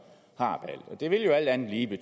er jeg lige